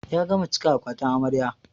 Ya gama cika akwatin amarya.